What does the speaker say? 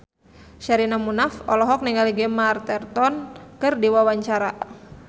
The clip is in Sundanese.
Sherina Munaf olohok ningali Gemma Arterton keur diwawancara